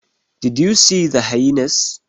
Did you see the hyenas?